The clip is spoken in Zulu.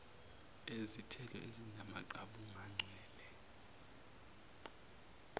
ezithelo ezinamaqabunga ncwela